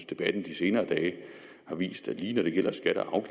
debatten de senere dage har vist at lige når det gælder skatter og